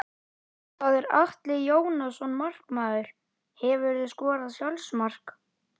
Það er Atli Jónasson markmaður Hefurðu skorað sjálfsmark?